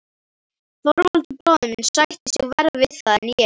Þorvaldur bróðir minn sætti sig verr við það en ég.